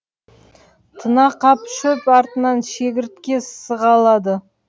тына қап шөп артынан шегіртке сығалады